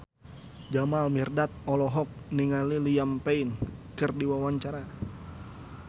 Jamal Mirdad olohok ningali Liam Payne keur diwawancara